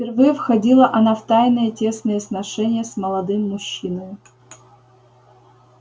впервые входила она в тайные тесные сношения с молодым мужчиною